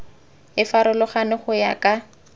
e farologane go ya ka